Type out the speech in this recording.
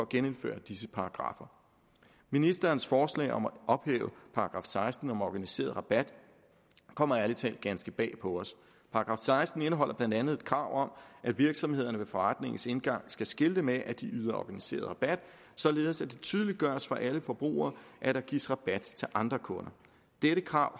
genindføre disse paragraffer ministerens forslag om at ophæve § seksten om organiseret rabat kommer ærlig talt ganske bag på os § seksten indeholder blandt andet et krav om at virksomhederne ved forretningens indgang skal skilte med at de yder organiseret rabat således at det tydeliggøres for alle forbrugere at der gives rabat til andre kunder dette krav